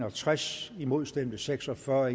og tres imod stemte seks og fyrre